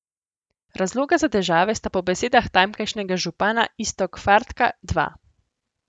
Razloga za težave sta po besedah tamkajšnjega župana Iztok Fartka dva.